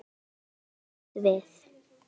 Net getur átt við